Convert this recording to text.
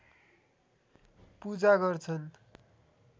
पूजा गर्छन्